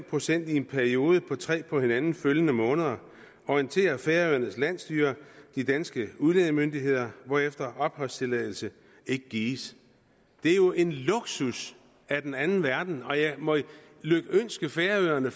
procent i en periode på tre på hinanden følgende måneder orienterer færøernes landsstyre de danske udlændingemyndigheder hvorefter opholdstilladelse ikke gives det er jo en luksus af den anden verden og jeg må lykønske færøerne